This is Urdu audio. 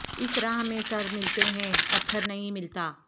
اس راہ میں سر ملتے ہیں پتھر نہیں ملتا